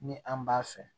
Ni an b'a fɛ